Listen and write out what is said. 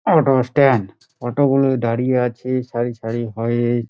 Auto -র stand auto -গুলো দাঁড়িয়ে আছে সারি সারি হয়ে।